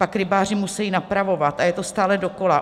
Pak rybáři musejí napravovat, a je to stále dokola.